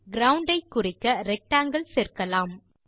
ground ஐ குறிக்க rectangle சேர்க்கலாம்